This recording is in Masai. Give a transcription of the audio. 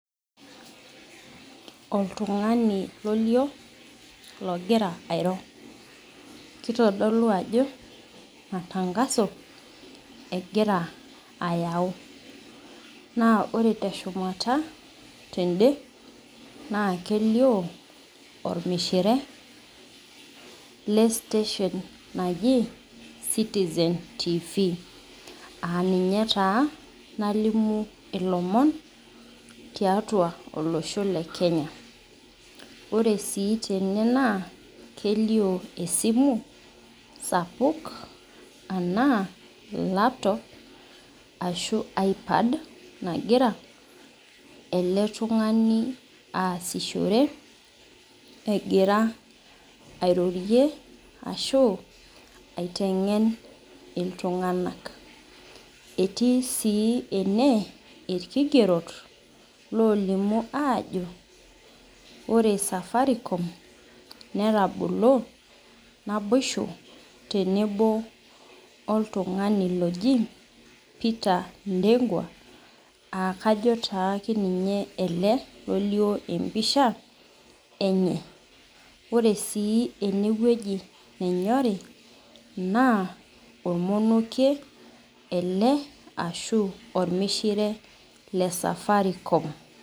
Oltungani olio logira airo kitodolu ajo matangaso egira ayau na ore teshumata tende na kelio ormishiee le station naji citizen tv aa ninye taa nalimu ilomon tiatua olosho lekenya ore si tene nakelio esimu sapuk nagira eletungani aasishore egira airorie ashu aitengen ltunganak etii si ene irkigerot olimu ajo ore Safaricom netabolo naboisho tenebo oltungi oji peter ndegwa akajo na ninye olio empisha enye ore sie enewueji nanyori na ormonokie ele ashu ormishire le Safaricom.